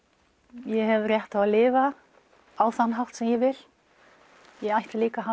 ég hef rétt á að lifa á þann hátt sem ég vil ég ætti líka að